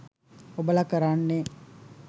ඔබල කරන්නේ